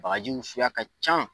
Bagajiw suguya ka can.